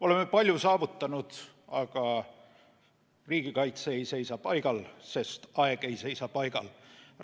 Oleme palju saavutanud, aga riigikaitse ei seisa paigal, sest aeg ei seisa paigal.